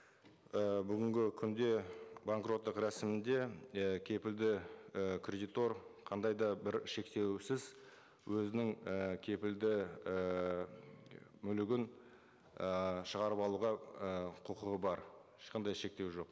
і бүгінгі күнде банкроттық рәсімінде і кепілді і кредитор қандай да бір шектеусіз өзінің і кепілді ііі мүлігін ы шығарып алуға ы құқығы бар ешқандай шектеу жоқ